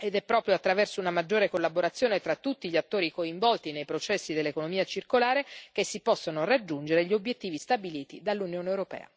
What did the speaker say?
È proprio attraverso una maggiore collaborazione tra tutti gli attori coinvolti nei processi dell'economia circolare che si possono raggiungere gli obiettivi stabiliti dall'Unione europea.